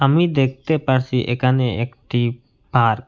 আমি দেখতে পারসি এখানে একটি পার্ক ।